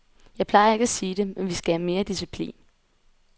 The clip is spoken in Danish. Jeg plejer ikke at sige det, men vi skal have mere disciplin.